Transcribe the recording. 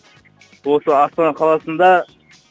осы астана қаласында